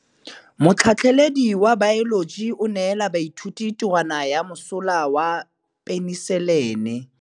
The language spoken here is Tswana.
Motlhatlhaledi wa baeloji o neela baithuti tirwana ya mosola wa peniselene.